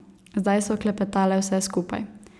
Zdaj so klepetale vse skupaj.